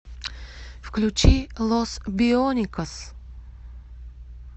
включи лос бионикос